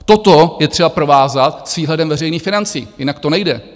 Toto je třeba provázat s výhledem veřejných financí, jinak to nejde.